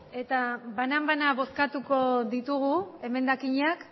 eta banan bana bozkatuko ditugu emendakiñak